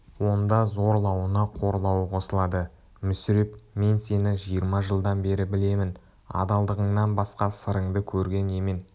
онда зорлауына қорлауы қосылады мүсіреп мен сені жиырма жылдан бері білемін адалдығыңнан басқа сырыңды көрген емен